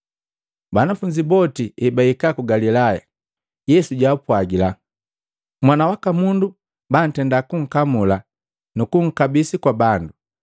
Banafunzi boti ebahika ku Galilaya, Yesu jwaapwagila, “Mwana waka Mundu bantenda kunkamula nukunkabisa kwa bandu,